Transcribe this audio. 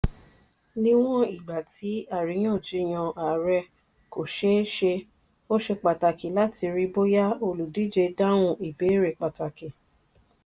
níwọ̀n ìgbà tí àríyànjiyàn ààrẹ kò ṣeé ṣe ó ṣe pàtàkì láti rí bóyá olùdíje dáhùn ìbéèrè pàtàkì.